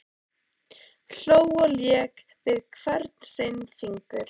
Hló og lék við hvern sinn fingur.